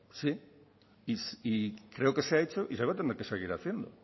y creo que se ha hecho y se va a tener que seguir haciendo